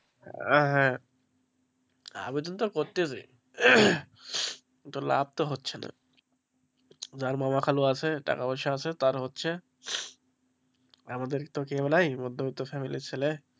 আহ হ্যাঁ আবেদন তো করতেই হবে তো লাভ তো হচ্ছে না যার মামা খালু আছে টাকা পয়সা আছে তার হচ্ছে আমাদের তো কেউ নাই মধ্যবিত্ত family র ছেলে।